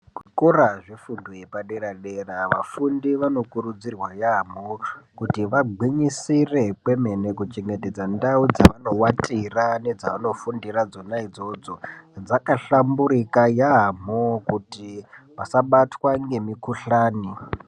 Zvikora zvefundo yepadera dera, vafundi vanokurudzirwa yaamho kuti vagwinyisire kwemene kuchengetedza ntau dzavanovatira nedzavanofundira dzona idzodzo dzakahlamburika yaamho kuti vasabatwe ngemikuhlani.